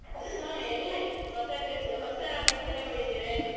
ಹಾ ಎಲ್ಲಾ ಆಯ್ತು ಹೊಸ dress ಹೊಸ ಬಟ್ಟೆ ತಗೊಂಡಿದ್ದೇವೆ.